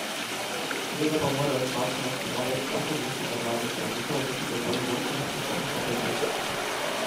Seveda pa morajo zdravstvene ustanove za tako gesto do mladih zdravnikov imeti dovolj vodstvenih in poslovnih kompetenc.